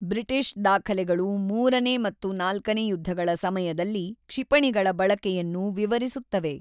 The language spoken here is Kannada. ಬ್ರಿಟಿಷ್ ದಾಖಲೆಗಳು ಮೂರನೇ ಮತ್ತು ನಾಲ್ಕನೇ ಯುದ್ಧಗಳ ಸಮಯದಲ್ಲಿ ಕ್ಷಿಪಣಿಗಳ ಬಳಕೆಯನ್ನು ವಿವರಿಸುತ್ತವೆ.